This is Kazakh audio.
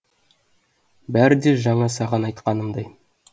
бәрі де жаңа саған айтқанымдай